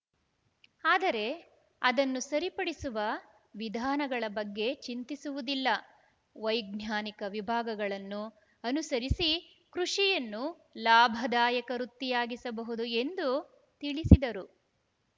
ಆದರೆ ಅದನ್ನು ಸರಿಪಡಿಸುವ ವಿಧಾನಗಳ ಬಗ್ಗೆ ಚಿಂತಿಸುವುದಿಲ್ಲ ವೈಜ್ಞಾನಿಕ ವಿಭಾಗಗಳನ್ನು ಅನುಸರಿಸಿ ಕೃಷಿಯನ್ನು ಲಾಭದಾಯಕ ವೃತ್ತಿಯಾಗಿಸಬಹುದು ಎಂದು ತಿಳಿಸಿದರು